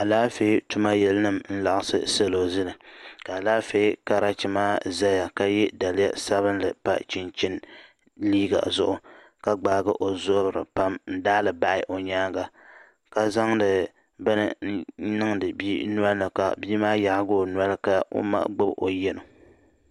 Alaafee tuma yili nima n laɣisi salo zili ka alaafee karachi maa zaya ka ye daliya sabinli pa chinchini liiga zuɣu ka gbaai o zabiri pam n daali bahi o yɛanga ka zaŋdi bini niŋdi bii noli ni ka bii maa yaagi o noli ka o ma gbubi o yɛno.